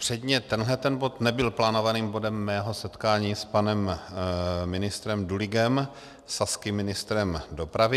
Předně tenhle bod nebyl plánovaným bodem mého setkání s panem ministrem Duligem, saským ministrem dopravy.